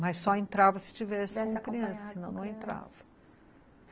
Mas só entrava se estivesse com criança, senão não entrava.